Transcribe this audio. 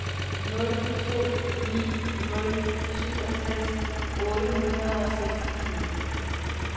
nul to ni nul syvogtres otte hundrede og seksogtyve